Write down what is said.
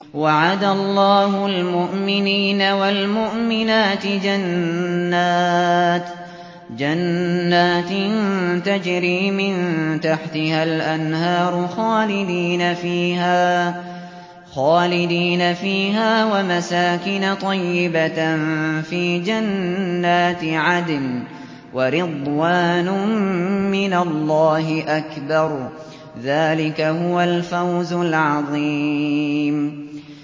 وَعَدَ اللَّهُ الْمُؤْمِنِينَ وَالْمُؤْمِنَاتِ جَنَّاتٍ تَجْرِي مِن تَحْتِهَا الْأَنْهَارُ خَالِدِينَ فِيهَا وَمَسَاكِنَ طَيِّبَةً فِي جَنَّاتِ عَدْنٍ ۚ وَرِضْوَانٌ مِّنَ اللَّهِ أَكْبَرُ ۚ ذَٰلِكَ هُوَ الْفَوْزُ الْعَظِيمُ